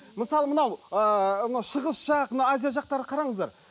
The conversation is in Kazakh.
мысалы мынау ыыы мынау шығыс жақ мына азия жақтарды қараңыздар